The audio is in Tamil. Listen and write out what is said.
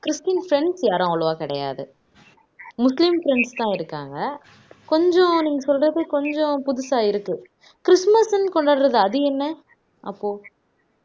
கிறிஸ்டின் பிரிஎண்ட்ஸ் யாரும் அவ்வளவா கிடையாது முஸ்லிம் பிரிஎண்ட்ஸ் தான் இருக்காங்க கொஞ்சம் நீங்க சொல்றது கொஞ்சம் புதுசா இருக்கு கிறிஸ்துமஸ்ன்னு கொண்டாடுறது அது என்ன அப்போ